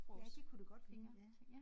Ja det kunne det godt ligne ja